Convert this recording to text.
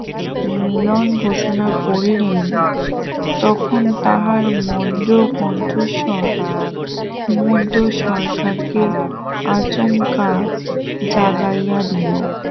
মিলন ঘোষনা করলেন তখন তাহার মন্দ কণ্ঠস্বর ঘুমন্ত সরকারকে আচমকা জাগাইয়া দিল